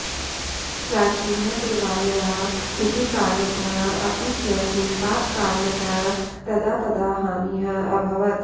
प्राचीनः देवालयः इति कारणतः अपि च हिमपातकारणतः तदा तदा हानिः अभवत्